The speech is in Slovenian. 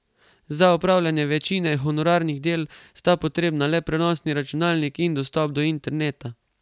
Za opravljanje večine honorarnih del sta potrebna le prenosni računalnik in dostop do interneta.